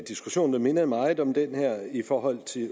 diskussion der minder meget om den her i forhold til